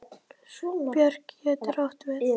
Björk getur átt við